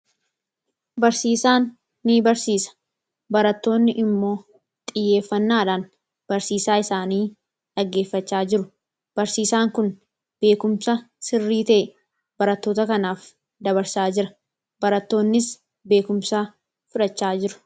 Barsiisaan nibarsiisa. Barattoonni immoo xiyyeeffannaadhaan barsiisaa isaanii dhaggeeffachaa jiru. Barsiisaan kun beekumsa sirrii ta'e barattoota kanaaf dabarsaa jira. Barattoonnis beekumsa fudhachaa jiru.